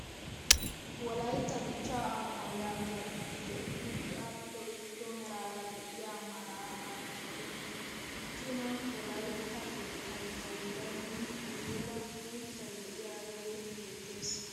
Wolaytta dichchaa amuwaa yaagiyaa xifatee tuuti adhdhido irzzo meraara de; iyaa malataa giddo ginan wolaytta keettay jagiiraynne guyeera uuttaay de; iyaagee beettees!